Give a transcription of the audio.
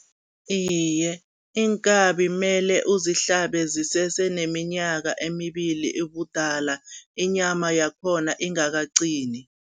Iye, iinkabi mele uzihlabe zisese neminyaka emibili ubudala, inyama yakhona ingakaqini.